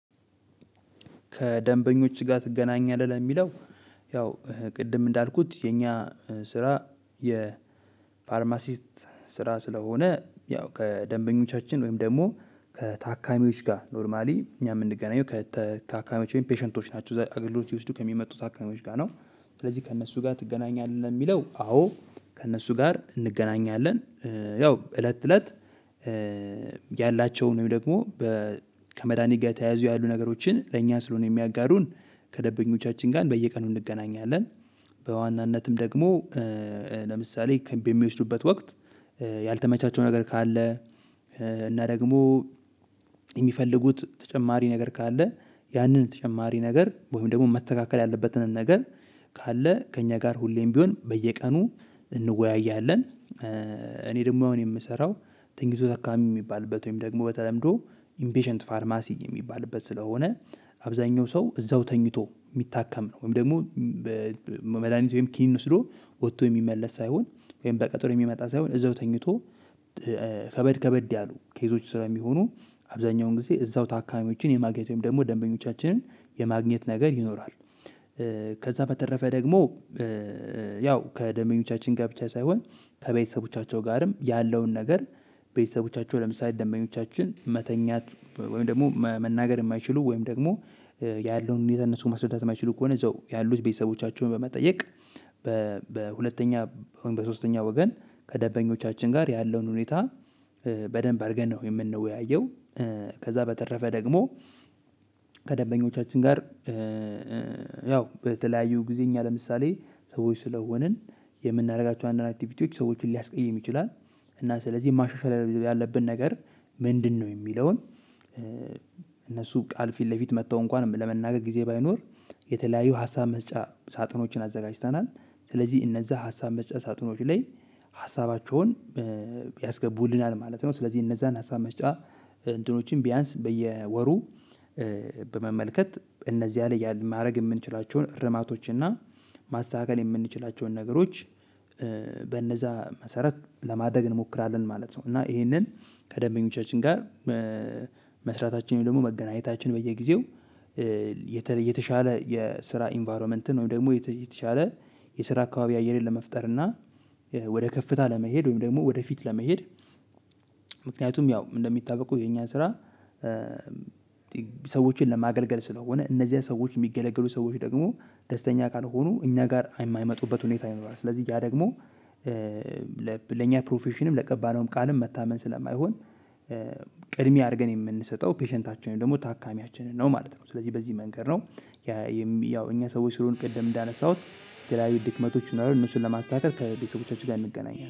ከደንበኞች ጋር ትገናኛለህ? ለሚለው ያው ቅድም እንዳልኩት የኛ ስራ የፋርማሲስት ስራ ስለሆነ ያው ከደንበኞቻችን ወይም ደግሞ ከታካሚዎች ጋር ኖርማሊ እኛ የምንገናኘው ከታካሚዎች ወይም ፔሸንቶች ናቸው እዛ አገልግሎት ሊወስዱ ከሚመጡት ታካሚዎች ጋር ነው። ስለዚህ ከእነሱ ጋር ትገናኛለህ? የሚለው አዎ ከእነሱ ጋር እንገናኛለን። ያው እለት እለት ያላቸውን ወይ ደግሞ ከመድሃኒት ጋር ተያዙ ያሉ ነገሮችን ለእኛ ስለሆነ የሚያጋሩን ከደንበኞቻችን ጋር በየቀኑ እንገናኛለን። በዋናነትም ደግሞ ለምሳሌ ቢሚወስዱበት ወቅት ያልተመቻቸው ነገር ካለ እና ደግሞ የሚፈልጉት ተጨማሪ ነገር ካለ ያንን ተጨማሪ ነገር ወይም ደግሞ መተካከል ያለበትን ነገር ካለ ከእኛ ጋር ሁሌም ቢሆን በየቀኑ እንወያያለን። እኔ ደግሞ አሁን የምሰራው ተኝቶ ተካሚ የሚባልበት ወይም ደግሞ በተለምዶ ኢምፔሸንት ፋርማሲ የሚባልበት ስለሆነ አብዛኛው ሰው እዛው ተኝቶ የሚታካም ነው። ወይም ደግሞ መድሃኒት ወይም ኪኒን ወስዶ ወጥቶ የሚመለስ ሳይሆን ወይም በቀጠሮ የሚመጣ ሳይሆን እዛው ተኝቶ ከበድ ከበድ ያሉ ኬዞች ስራ የሚሆኑ አብዛኛውን ጊዜ እዛው ታካሚዎችን የማግኘት ወይም ደግሞ ደንበኞቻችንን የማግኘት ነገር ይኖራል። ከዛ በተረፈ ደግሞ ያው ከደመኞቻችን ጋር ብቻ ሳይሆን ከቤተሰቦቻቸው ጋርም ያለውን ነገር ቤተሰቦቻቸው ለምሳሌ ደንበኞቻችን መተኛት ወይም ደግሞ መናገር የማይችሉ ወይም ደግሞ ያለውን እየተነሱ ማስረዳት የማይችሉ ከሆነ እዛው ያሉት ቤተሰቦቻችሁን በመጠየቅ በሁለተኛ በሶስተኛ ወገን ከደንበኞቻችን ጋር ያለውን ሁኔታ በደንብ አድርገን ነው የምንወያየው። ከዛ በተረፈ ደግሞ ከደንበኞቻችን ጋር ያው በተለያዩ ጊዜ እኛ ለምሳሌ ሰዎች ስለሆንን የምናደርጋቸው አንዳንድ አቲቪቲዎች ሰዎችን ሊያስቀይም ይችላል። እና ስለዚህ ማሻሻል ያለብን ነገር ምንድነው? የሚለውን እነሱ ቃል ፊት ለፊት መጥተው እንኳን ለመናገር ጊዜ ባይኖር የተለያዩ ሀሳብ መስጫ ሳጥኖችን አዘጋጅተናል። ስለዚህ እነዛ ሀሳብ መስጫ ሳጥኖች ላይ ሀሳባቸውን ያስገቡልናል ማለት ነው። ስለዚህ እነዛን ሀሳብ መስጫ እንትኖችን ቢያንስ በየወሩ በመመልከት እነሂያ ላይ ማድረግ የምንችላቸውን እርማቶችን እና ማስተካከል የምንችላቸውን ነገሮች በነዛ መሰረት ለማድረግ እንሞክራለን ማለት ነው። እና ይሄንን ከደንበኞቻችን ጋር መስራታችንን ደግሞ መገናኘታችን በየጊዜው የተሻለ የስራ ኢንቫይሮመንትን ወይም ደግሞ የተቻለ የስራ አካባቢ አየርን ለመፍጠር እና ወደ ከፍታ ለመሄድ ወይም ደግሞ ወደፊት ለመሄድ ምክንያቱም ያው እንደሚታወቀው የኛን ስራ ሰዎችን ለማገልገል ስለሆነ እነዚያ ሰዎች የሚገለግሉ ሰዎች ደግሞ ደስተኛ ካልሆኑ እኛ ጋር የማይመጡበት ሁኔታ ይኖራል። ስለዚህ ያ ደግሞ ለኛ ፕሮፌሽንም ለገባነውም ቃልም መታመን ስለማይሆን ቅድሚያ አድርገን የምንሰጠው ፔሸንታችንን ደግሞ ታካሚያችንን ነው ማለት ነው። ስለዚህ በዚህ መንገድ ነው ያ ያው እኛ ሰዎች ስለሆንን ቅድም እንዳነሳሁት የተለያዩ ድክመቶች ስኖሩ እነሱን ለማስተካከል ከቤተሰቦቻቸው ጋር እንገናኛለን።